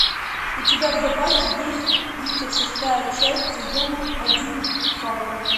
у тебя в запасе есть тридцать шестая часть сезона один фарго